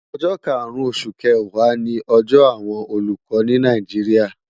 Ójó kárún ósú kéwá ni òjò àwón ólúkò ni Náijiria